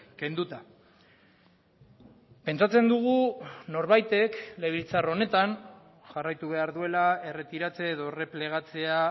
kenduta pentsatzen dugu norbaitek legebiltzar honetan jarraitu behar duela erretiratze edo erreplegatzea